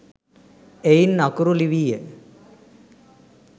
එයින් අකුරු ලිවීය.